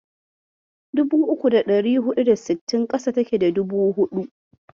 Dubu uku da ɗari huɗu da sittin ƙasa take da dubu huɗu.